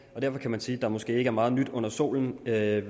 og derfor kan man sige at der måske ikke er meget nyt under solen hvad